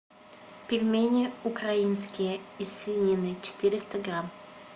пельмени украинские из свинины четыреста грамм